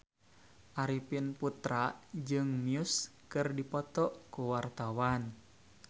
Arifin Putra jeung Muse keur dipoto ku wartawan